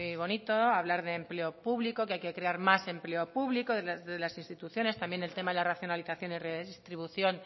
bonito hablar de empleo público que hay que crear más empleo público desde las instituciones también el tema de la racionalización y redistribución